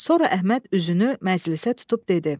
Sonra Əhməd üzünü məclisə tutub dedi: